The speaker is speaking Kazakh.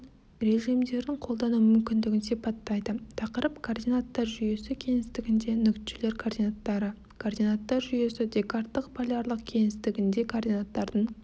режимдерін қолдану мүмкіндігін сипаттайды тақырып координаттар жүйесі кеңістігінде нүктелер координаттары координаттар жүйесі декарттық полярлық кеңістігінде координаттардың